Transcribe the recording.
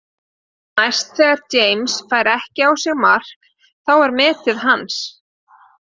Næst þegar James fær ekki á sig mark þá er metið hans.